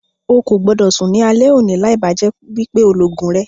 Ó kó gbọ́dọ̀ sún ní alẹ́ òní láì bá jẹ́ wípé o lọ ogún rẹ.